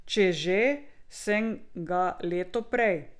Če že, sem ga leto prej.